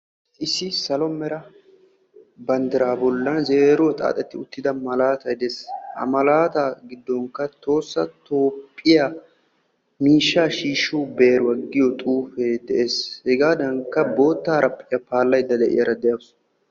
Issi salo mera banddira bolla zeeroy xaaxeti uttida malatay de'ees. Ha malataa giddonkka Tohossa Toophiyaa miishsha shiishshiyo beeruwaa giyo xuufe de'ees. Hegadankka bootta haraphiya paalaydda de'iyaara de"awusu.